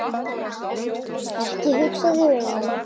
Ekki hugsa þig um.